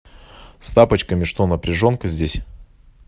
с тапочками что напряженка здесь